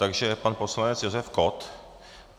Takže pan poslanec Josef Kott.